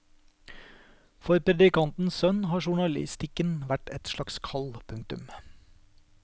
For predikantens sønn har journalistikken vært et slags kall. punktum